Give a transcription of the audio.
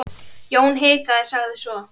Jón hikaði, sagði svo